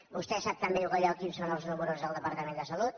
vostè sap tan bé com jo quins són els números del departament de salut